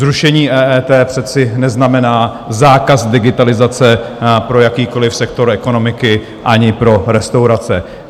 Zrušení EET přece neznamená zákaz digitalizace pro jakýkoliv sektor ekonomiky, ani pro restaurace.